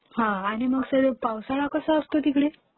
आणि मग पावसाळा कसा असतो तिकडे?